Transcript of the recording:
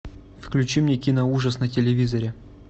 включи мне киноужас на телевизоре